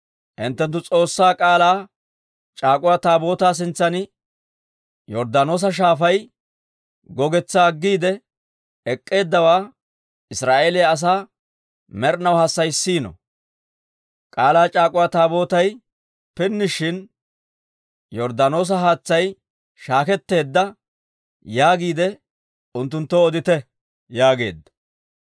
hinttenttu, S'oossaa K'aalaa c'aak'uwa Taabootaa sintsan Yorddaanoosa Shaafay gogetsaa aggiide ek'k'eeddawaa Israa'eeliyaa asaa med'inaw hassayissiino. K'aalaa c'aak'uwa Taabootay pinnishin, Yorddaanoosa haatsay shaaketteedda yaagiide unttunttoo odite» yaageedda.